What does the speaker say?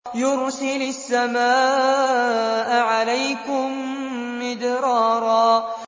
يُرْسِلِ السَّمَاءَ عَلَيْكُم مِّدْرَارًا